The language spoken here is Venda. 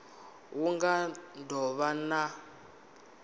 hu nga do vha na